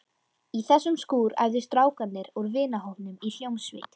Í þessum skúr æfðu strákar úr vinahópnum í hljómsveit.